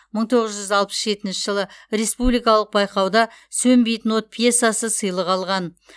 мың тоғыз жүз алпыс жетінші жылы республикалық байқауда сөнбейтін от пьесасы сыйлық алған